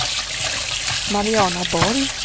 Mariana Borg